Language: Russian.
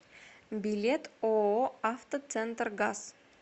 билет ооо автоцентргаз